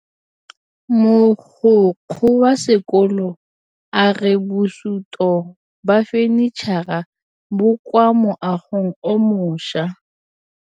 Mogokgo wa sekolo a re bosutô ba fanitšhara bo kwa moagong o mošwa.